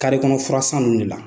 Kari kɔnɔ fura san ninnu de la.